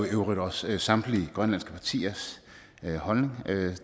øvrigt også samtlige grønlandske partiers holdning